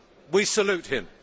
We salute him.